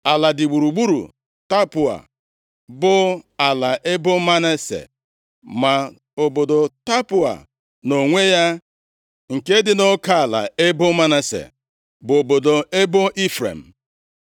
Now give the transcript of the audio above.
Ala dị gburugburu Tapụọa bụ ala ebo Manase, ma obodo Tapụọa nʼonwe ya, nke dị nʼoke ala ebo Manase, bụ obodo ebo Ifrem.